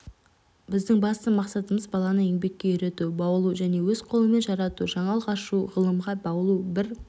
біздің басты мақсатымыз баланы еңбекке үйрету баулу және өз қолымен жарату жаңалық ашу ғылымға баулу бір